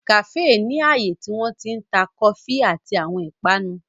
Kàféè ni ààyè tí wọ́n ti ń ta kọfí àti àwọn ìpanu.